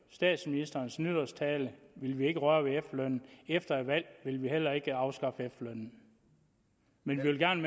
statsministerens nytårstale ville vi ikke røre ved efterlønnen efter et valg vil vi heller ikke afskaffe efterlønnen men vi vil gerne